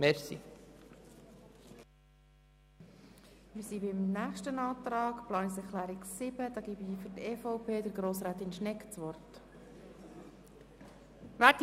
Zur Erläuterung der Planungserklärung 7 erteile ich Grossrätin Schnegg das Wort.